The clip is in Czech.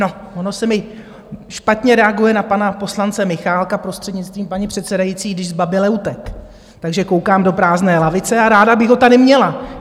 No, ono se mi špatně reaguje na pana poslance Michálka, prostřednictvím paní předsedající, když zbaběle utekl, takže koukám do prázdné lavice a ráda bych ho tady měla.